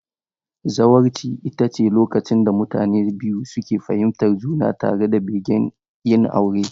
Zawarci ita ce lokacin da mutane biyu suke fahimtar juna tare da begen yin aure.